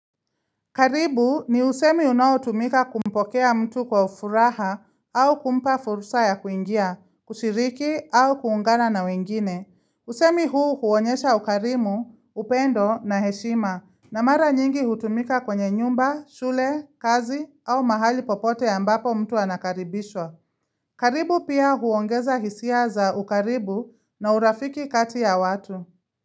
Karibu ni usemi unaotumika kumpokea mtu kwa furaha au kumpa fursa ya kuingia, kushiriki au kuungana na wengine. Usemi huu huonyesha ukarimu, upendo na heshima. Na mara nyingi hutumika kwenye nyumba, shule, kazi au mahali popote mbapo mtu anakaribishwa. Karibu pia huongeza hisia za ukaribu na urafiki kati ya watu.